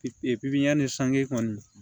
Pipiniyɛri sanji kɔni